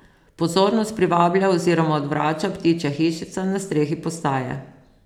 Pozornost privablja oziroma odvrača ptičja hišica na strehi postaje.